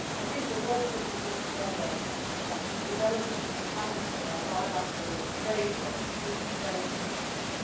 I think the work that we do together in developing and enhancing our bilateral trade work is very significant.